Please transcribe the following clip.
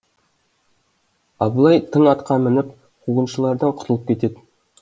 абылай тың атқа мініп қуғыншылардан құтылып кетеді